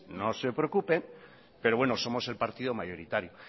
no se preocupen pero somos el partido mayoritario